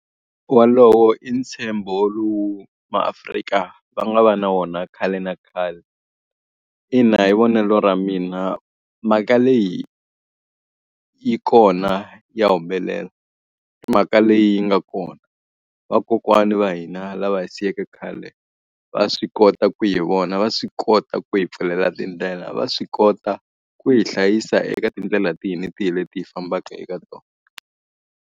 Wolowo i ntshembo lowu maAfrika va nga va na wona khale na khale. Ina hi vonelo ra mina, mhaka leyi yi kona ya humelela. I mhaka leyi yi nga kona. Vakokwani va hina lava hi siyeke khale, va swi kota ku hi vona, va swi kota ku hi pfulela tindlela, va swi kota ku hi hlayisa eka tindlela tihi na tihi leti hi fambaka eka tona.